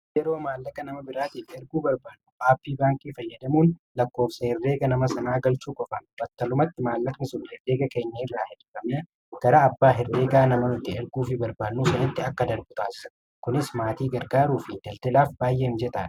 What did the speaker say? Yeroo maallaqa nama biraatiif erguu barbaannu aappii Baankii fayyadamuun lakkoofsa herreega nama sanaa galchuu qofaan battalumatti maallaqni sun herreega keenya irraa hir'ifamee gara abbaa herreegaa nama nuti erguufii barbaannu sanitti akka darbu taasisa. Kunis maatii gargaaruufi daldalaaf baay'ee mijataadha.